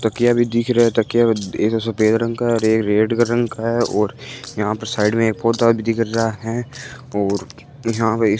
तकिया भी दिख रहा है तकिया में सफेद रंग का और एक रेड का रंग का है और यहां पर साइड में एक पौध भी दिख रहा है और यहां पे --